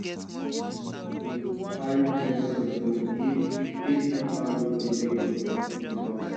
go carry clear soil go if if gutter no dey make water dey pass